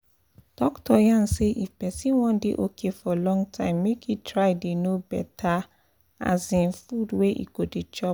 doctor yarn say if person wan dey okay for long time make e try dey know better um food wey e go dey chop